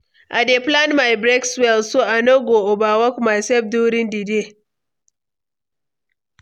I dey plan my breaks well, so I no go overwork myself during di day.